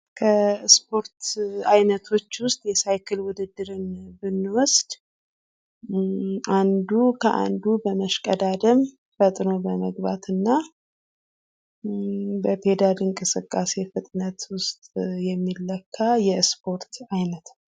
ከስፖርት አይነቶች ውስጥ የሳይክል ውድድር ብንዋሰድ አንዱ ከአንዱ በመሽቀዳደም ፈጥኖ በመግባትና በፔዳል እንቅስቃሴ ፍጥነቱ ውስጥ የሚለካ የስፖርት አይነት ነው።